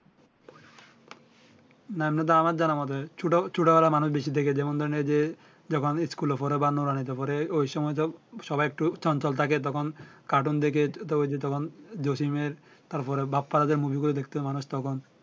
না তো আমার জানামতে ছোট ছোট বেলায় মানুষ বেশি দেখে যেমন ধরেন এই যে যখন স্কুল এ পরে বা নুরহানিতে পরে ঐ সময় সব সবাই একটু চঞ্চল থাকে তখন কাটুন দেখে তো ঐ যে তখন জসিম এর তার পর বাপ্পারাজ এরমুভি গুলো দেখতো মানুষ তখন